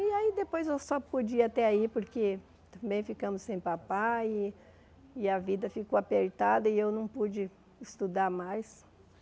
E aí depois eu só podia até aí porque acabei ficando sem papai e e a vida ficou apertada e eu não pude estudar mais.